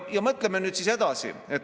Ja mõtleme nüüd edasi.